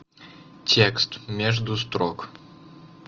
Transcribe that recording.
текст между строк